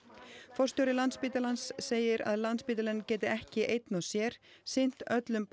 forstjóri Landspítalans segir að Landspítalinn geti ekki einn og sér sinnt öllum